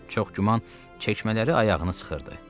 Çox güman, çəkmələri ayağını sıxırdı.